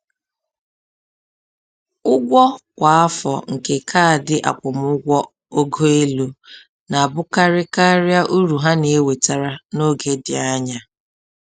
Ụgwọ kwa afọ nke kaadị akwụmụgwọ ogo elu na-abụkarị karịa uru ha na-ewetara n’oge dị anya